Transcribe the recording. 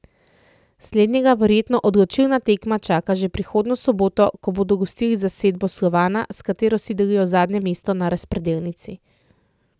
Slednjega verjetno odločilna tekma čaka že prihodnjo soboto, ko bodo gostili zasedbo Slovana, s katero si delijo zadnje mesto na razpredelnici.